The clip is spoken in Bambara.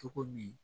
Cogo min